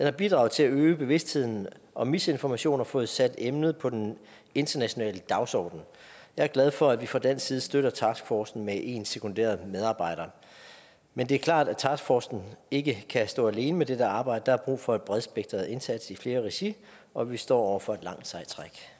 har bidraget til at øge bevidstheden om misinformation og har fået sat emnet på den internationale dagsorden jeg er glad for at vi fra dansk side støtter taskforcen med en sekunderet medarbejder men det er klart at taskforcen ikke kan stå alene med dette arbejde der er brug for en bredspektret indsats i flere regi og vi står over for et langt sejt